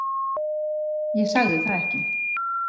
Ég sagði það ekki.